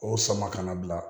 O sama ka na bila